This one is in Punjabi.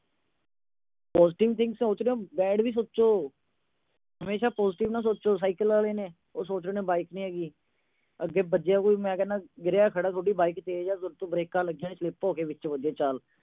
positive thing ਸੋਚਦੇ ਓ, bad ਵੀ ਸੋਚੋ। ਹਮੇਸ਼ਾ positive ਨਾ ਸੋਚੋ। ਸਾਈਕਲ ਆਲੇ ਸੋਚਦੇ ਨੇ ਬਾਈਕ ਨੀ ਹੈਗੀ। ਅੱਗੇ ਵੱਜਿਆ ਕੋਈ, ਮੈਂ ਕਹਿੰਨਾ ਗਿਰਿਆ ਖੜ੍ਹਾ, ਤੁਹਾਡੀ ਬਾਈਕ ਤੇਜ ਆ, ਤੁਹਾਡੇ ਤੋਂ ਬਰੇਕਾਂ ਲੱਗੀਆਂ ਨੀ, slip ਹੋ ਕੇ ਵਿੱਚ ਵੱਜੇ, ਚਲ।